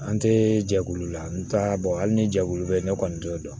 An tɛ jɛkulu la n t'a hali ni jɛkulu bɛ yen ne kɔni t'o dɔn